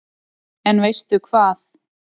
En veistu hvað